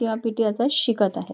त्या पी.टी असा शिकत आहेत.